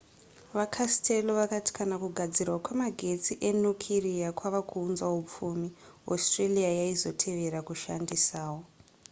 vacastello vakati kana kugadzirwa kwemagetsi enukiriya kwava kuunza hupfumi australia yaizotevera kushandisawo